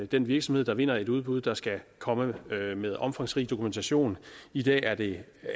den virksomhed der vinder et udbud der skal komme med omfangsrig dokumentation i dag er det